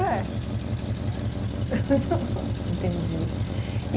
É. Entendi.